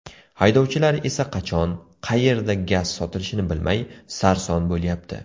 Haydovchilar esa qachon, qayerda gaz sotilishini bilmay, sarson bo‘lyapti.